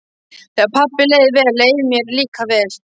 Þegar pabba leið vel leið mér líka vel.